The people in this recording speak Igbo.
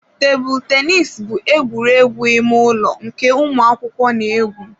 Tebụl tennis bụ egwuregwu ime ụlọ nke ụmụ akwụkwọ na-egwu.